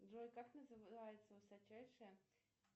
джой как называется высочайшая